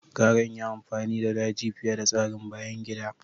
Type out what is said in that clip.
Gara in yi amfani da daji fiye da tsarin bayan gida.